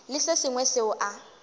le se sengwe seo a